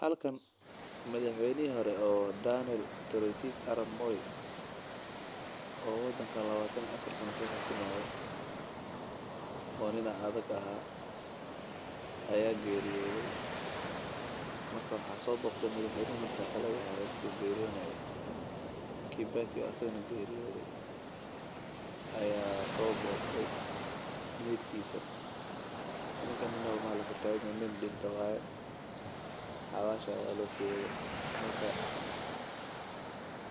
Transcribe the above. Halkan madax weynaha hore oo wadanka soo xukumaaye ayaa geriyoode waxaa soo boqde madax weynaha xilka haaye needkiisa ninka nin dinta waye